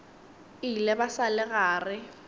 ile ba sa le gare